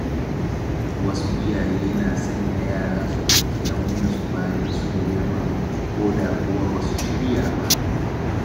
Wasu iyaye na sanya yara su ɗauki nauyin su bayan sun girma, ko da kuwa ba su shirya ba.